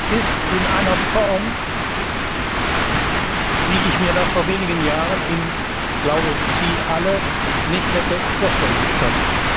ist, in einer Form, wie ich und ich glaube, Sie alle mir das vor wenigen Jahren nicht hätte vorstellen können.